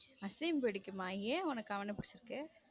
அசிம் பிடிக்குமா ஏன் உனக்கு அவன்ன புடுச்சுருக்கு.